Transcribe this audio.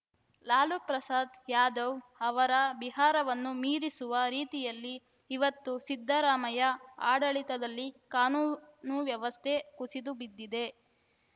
ಲಾಲು ಪ್ರಸಾದ್‌ ಯಾದವ್‌ ಅವರ ಬಿಹಾರವನ್ನು ಮೀರಿಸುವ ರೀತಿಯಲ್ಲಿ ಇವತ್ತು ಸಿದ್ದರಾಮಯ್ಯ ಆಡಳಿತದಲ್ಲಿ ಕಾನೂನು ವ್ಯವಸ್ಥೆ ಕುಸಿದುಬಿದ್ದಿದೆ